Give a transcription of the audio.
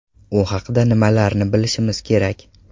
U haqda nimalarni bilishimiz kerak?.